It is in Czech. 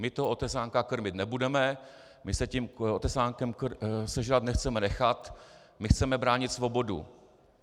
My toho Otesánka krmit nebudeme, my se tím Otesánkem sežrat nechceme nechat, my chceme bránit svobodu.